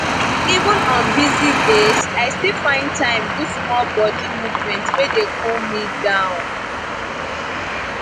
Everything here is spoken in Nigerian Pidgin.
even on busy days i still find time do small body movement wey dey cool me down